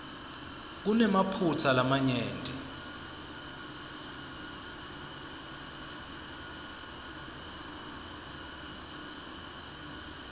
kunemaphutsa lamanyenti